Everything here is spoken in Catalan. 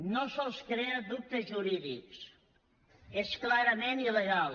no sols crea dubtes jurídics és clarament il·legal